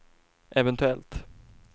eventuellt